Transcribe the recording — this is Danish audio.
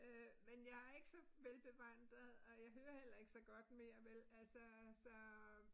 Øh men jeg ikke så velbevandret og jeg hører heller ikke så godt mere vel altså så